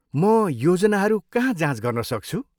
म योजनाहरू कहाँ जाँच गर्न सक्छु?